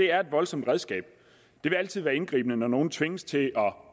er et voldsomt redskab det vil altid være indgribende når nogen tvinges til at